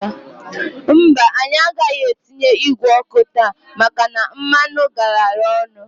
Mbaǃ Anyị agaghị atinye igwe ọkụ taa maka na mmanụ garara ọnụ.